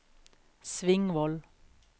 Svingvoll